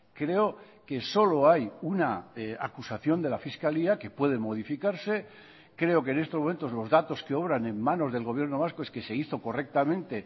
creo que solo hay una acusación de la fiscalía que puede modificarse creo que en estos momentos los datos que obran en manos del gobierno vasco es que se hizo correctamente